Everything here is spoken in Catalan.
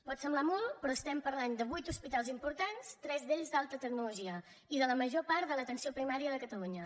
pot semblar molt però parlem de vuit hospitals importants tres d’ells d’alta tecnologia i de la major part de l’atenció primària de catalunya